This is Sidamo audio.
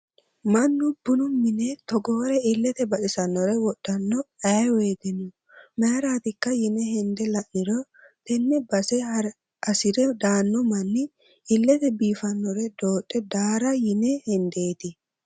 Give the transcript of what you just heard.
Mannu bunu mine togore ilete baxisanore wodhanno ayee woyteno mayratikka yine hende la'niro tene base hasire daano manni ilete biifinore dodhe daara yine hendeti.